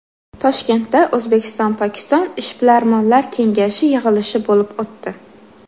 Toshkentda O‘zbekistonPokiston ishbilarmonlar kengashi yig‘ilishi bo‘lib o‘tdi.